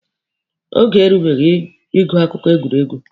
Oge erubeghi ịgụ akụkọ egwuregwu.